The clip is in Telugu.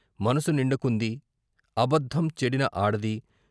మనసు నిండుకుంది , అబద్ధం, చెడిన ఆడది